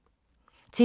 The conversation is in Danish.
TV 2